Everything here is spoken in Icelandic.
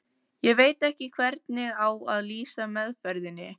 Ég veit ekki hvernig á að lýsa meðferðinni.